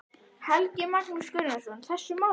Helgi Magnús Gunnarsson: Þessum málum?